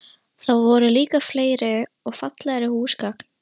Þar voru líka fleiri og fallegri húsgögn.